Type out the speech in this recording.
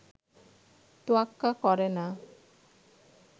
তোয়াক্বা করে না